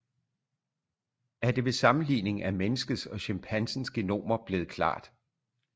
Er det ved sammenligning af menneskets og chimpansens genomer blevet klart